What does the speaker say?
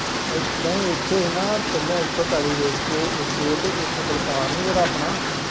ਏਦਾਂ ਹੀ ਇੱਥੇ ਨਾ ਪਹਿਲੋਂ ਇੱਥੇ ਪੈਲੀ ਵੇਚ ਕੇ ਇੱਕ ਇਹ ਅਤੇ ਇੱਕ ਬਲਕਾਰ ਨਹੀ ਜਿਹੜਾ ਆਪਣਾ